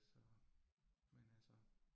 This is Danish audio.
Så, men altså